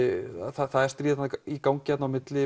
það er stríð í gangi þarna á milli